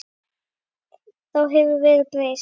Þá hefur verðið breyst.